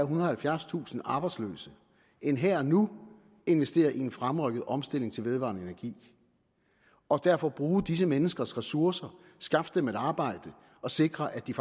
og halvfjerdstusind arbejdsløse end her og nu at investere i en fremrykket omstilling til vedvarende energi og derfor bruge disse menneskers ressourcer skaffe dem et arbejde og sikre at de